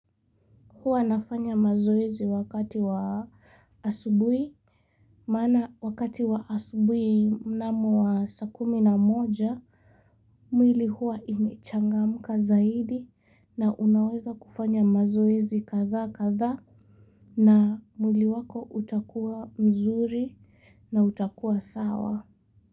Huwa nafanya mazoezi wakati wa asubui, mana wakati wa asubui mnamo wa saa kumi na moja, mwili huwa imechangamka zaidi na unaweza kufanya mazoezi kadha kadha na mwili wako utakuwa mzuri na utakuwa sawa.